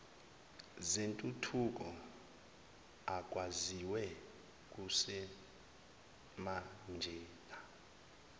zentuthuko akwaziwe kusemanjena